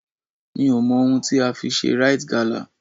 Mi ò mọ ohun tí a fi ṣe Rite gala.